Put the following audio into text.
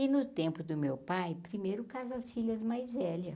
E no tempo do meu pai, primeiro, casa as filhas mais velhas.